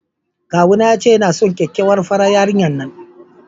Kawuna ya ce yana son kyakkyawar farar yarinyar nan.